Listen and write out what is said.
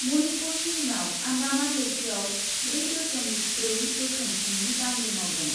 मनिपुरनि उनाव आन्डामान लैथोआव ब्रै दस'मिक ब्रै गोख्रोंथिनि बांग्रि मावदों ।